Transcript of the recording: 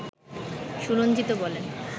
সুরঞ্জিত বলেন